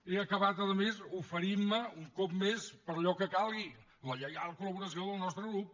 he acabat a més oferint me un cop més per allò que calgui la lleial col·laboració del nostre grup